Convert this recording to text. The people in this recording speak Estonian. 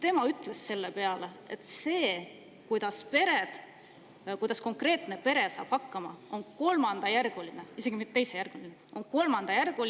Tema on selle peale öelnud, et see, kuidas konkreetne pere hakkama saab, on kolmandajärguline – isegi mitte teisejärguline!